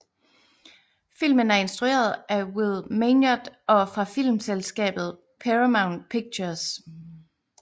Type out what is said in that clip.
Filmen er instrueret af Will Meugniot og fra filmselskabet Paramount Pictures